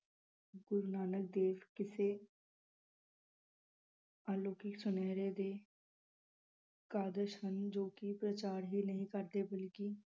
ਗੁਰੂ ਨਾਨਕ ਦੇਵ ਕਿਸੇ ਅਲੌਕਿਕ ਸੁਨਹਿਰੇ ਦੇ ਹਨ ਜੋ ਕੀ ਪ੍ਰਚਾਰ ਹੀ ਨਹੀਂ ਕਰਦੇ